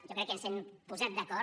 jo crec que ens hem posat d’acord